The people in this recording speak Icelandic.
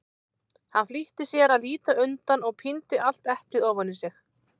Hann flýtti sér að líta undan og píndi allt eplið ofan í sig.